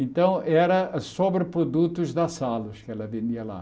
Então, era sobre produtos das salas que ela vendia lá.